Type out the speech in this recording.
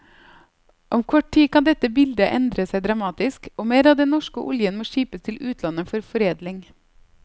Om kort tid kan dette bildet endre seg dramatisk, og mer av den norske oljen må skipes til utlandet for foredling.